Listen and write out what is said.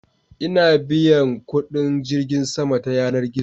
ina biyan kudin jirgin sama ta yanar gizo